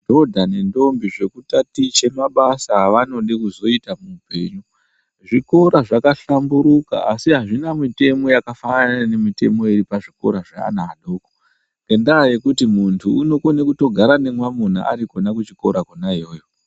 Madhodha nendombi zvekutatiche mabasa evanode kuzoita muupenyu. Zvikora zvakahlamburuka asi azvina mitemo yakafanana nemitemo iri pazvikora zveana adoko, ngendaa yekuti muntu unokone kutogara nemwanuna ari kona kuchikora kona iyoyo.